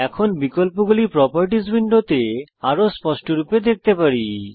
এখন বিকল্পগুলি প্রোপার্টিস উইন্ডোতে আরও স্পষ্টরূপে দেখতে পারি